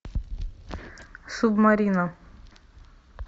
субмарина